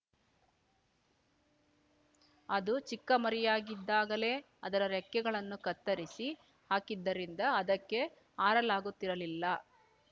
ಅದು ಚಿಕ್ಕಮರಿಯಾಗಿದ್ದಾಗಲೇ ಅದರ ರೆಕ್ಕೆಗಳನ್ನು ಕತ್ತರಿಸಿ ಹಾಕಿದ್ದರಿಂದ ಅದಕ್ಕೆ ಹಾರಲಾಗುತ್ತಿರಲಿಲ್ಲ